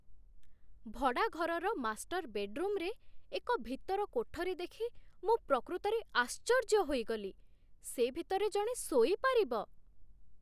ଭଡ଼ା ଘରର ମାଷ୍ଟର୍ ବେଡ୍‌ରୁମ୍‌ରେ ଏକ ଭିତର କୋଠରୀ ଦେଖି ମୁଁ ପ୍ରକୃତରେ ଆଶ୍ଚର୍ଯ୍ୟ ହୋଇଗଲି, ସେ ଭିତରେ ଜଣେ ଶୋଇପାରିବ!